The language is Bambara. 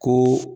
Ko